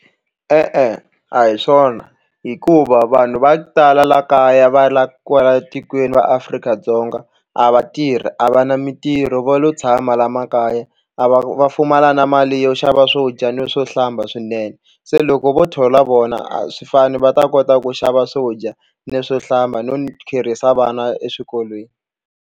E-e, a hi swona hikuva vanhu va ku tala la kaya va la kwala tikweni va Afrika-Dzonga a va tirhi a va na mitirho va lo tshama la makaya a va va pfumala na mali yo xava swo dya no swo hlamba swinene se loko vo thola vona a swi fani va ta kota ku xava swo dya ni swo hlamba no kherisa vana eswikolweni.